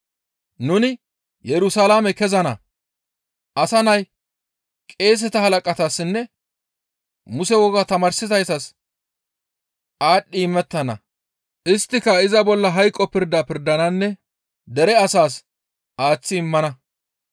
«Nuni Yerusalaame kezana; Asa Nay qeeseta halaqatassinne Muse wogaa tamaarsizaytas aadhdhi imettana; isttika iza bolla hayqo pirda pirdananne dere asaas aaththi immana.